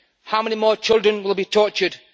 How many more children will be tortured?